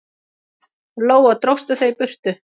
Lóa: Dróstu þau í burtu?